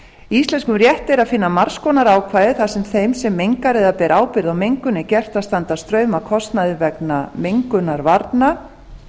íslenskum rétti er að finna margs konar ákvæði þar sem þeim sem mengar eða ber ábyrgð á mengun er gert að standa straum af kostnaði vegna mengunarvarna